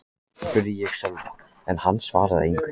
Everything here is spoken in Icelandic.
spurði ég Sölva en hann svaraði engu.